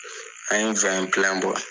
An ye bɔ